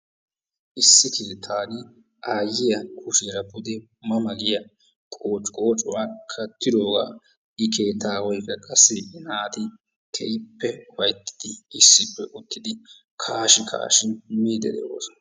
Issi keettaa aayiya kushiyaara duge ma ma giya qooci qooccuwa kattidoogaa I keettaawaykka qassi I naati keehippe ufayttidi issippe uttidi kaashi kaashi miidi de'oosona.